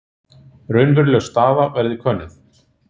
Raunveruleg staða verði könnuð